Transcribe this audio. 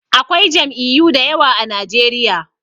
Akwai jam'iyu dayawa a najeriya